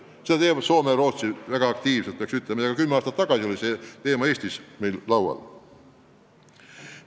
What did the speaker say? Sellega tegelevad näiteks Soome ja Rootsi väga aktiivselt ja juba kümme aastat tagasi oli see teema ka Eestis laual.